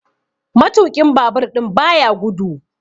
Matuƙin Babur ɗin baya gudu.